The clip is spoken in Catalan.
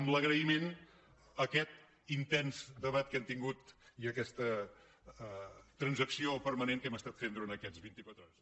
amb l’agraïment a aquest intens debat que hem tingut i aquesta transacció permanent que hem estat fent du·rant aquestes vint·i·quatre hores